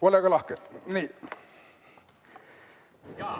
Olge lahke!